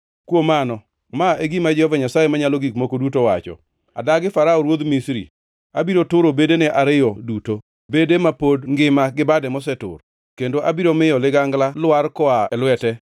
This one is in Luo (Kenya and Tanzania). Kuom mano, ma e gima Jehova Nyasaye Manyalo Gik Moko Duto wacho: Adagi Farao ruodh Misri. Abiro turo bedege ariyo duto, bade ma pod ngima gi bade mosetur, kendo abiro miyo ligangla lwar koa e lwete.